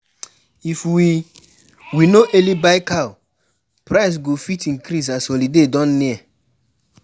If we no early buy cow, price go fit increase as holiday don near.